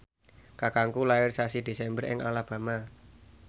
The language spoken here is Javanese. kakangku lair sasi Desember ing Alabama